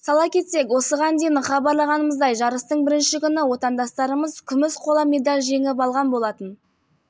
сала кетсек осыған дейін хабарлағанымыздай жарыстың бірінші күні отандастарымыз күміс қола медаль жеңіп алған болатын